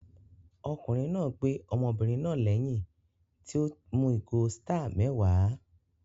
Ọkùnrin náà gbé ọmọbìnrin náà lẹ́yìn tí ó mu ìgò Star mẹ́wàá